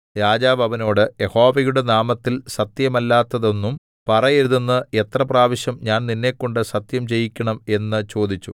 രാജാവ് അവനോട് യഹോവയുടെ നാമത്തിൽ സത്യമല്ലാത്തതൊന്നും പറയരുതെന്ന് എത്ര പ്രാവശ്യം ഞാൻ നിന്നെക്കൊണ്ട് സത്യം ചെയ്യിക്കണം എന്ന് ചോദിച്ചു